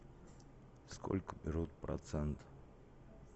сколько берут процент